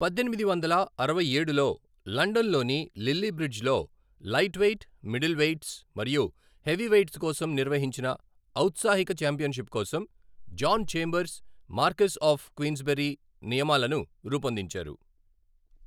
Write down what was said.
పద్దెనిమిది వందల అరవై ఏడులో, లండన్లోని లిల్లీ బ్రిడ్జ్లో లైట్వెయిట్, మిడిల్ వెయిట్స్ మరియు హెవీవెయిట్స్ కోసం నిర్వహించిన ఔత్సాహిక ఛాంపియన్షిప్ కోసం, John Chambers, Marquess of Queensberry నియమాలను రూపొందించారు